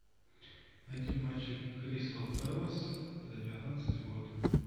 найти матчи кристал пэлас за девятнадцатый год